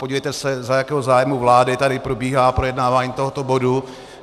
Podívejte se, za jakého zájmu vlády tady probíhá projednávání tohoto bodu.